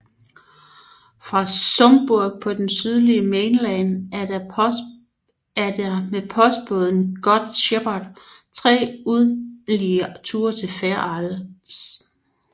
Fra Sumburgh på det sydlige Mainland er der med postbåden Good Shepherd 3 ugentlige ture til Fair Isle